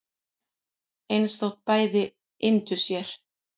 eins þótt bæði yndu sér